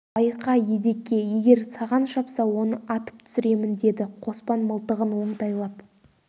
байқа едеке егер саған шапса оны атып түсіремін деді қоспан мылтығын оңтайлап